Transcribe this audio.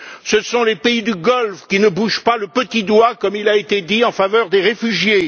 ce sont les pays du Golfe qui ne bougent pas le petit doigt, comme il a été dit, en faveur des réfugiés